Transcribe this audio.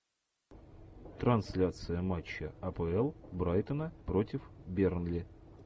трансляция матча апл брайтона против бернли